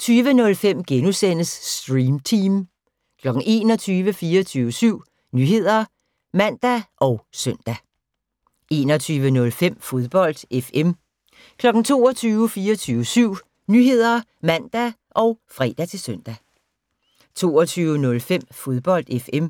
20:05: Stream Team * 21:00: 24syv Nyheder (man og søn) 21:05: Fodbold FM 22:00: 24syv Nyheder (man og fre-søn) 22:05: Fodbold FM